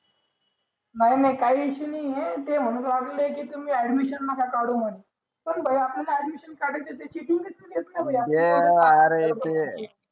नई नई काय issue नाई ए ते म्हणू लागले तुम्ही admission नाक काढू म्हणे पण भाई आपल्याला काढायचे आरे ते